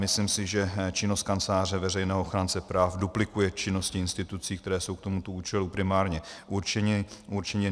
Myslím si, že činnost Kanceláře veřejného ochránce práv duplikuje činnosti institucí, které jsou k tomuto účelu primárně určeny.